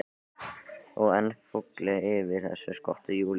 Og enn fúlli yfir þessu skoti Júlíu.